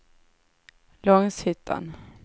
Långshyttan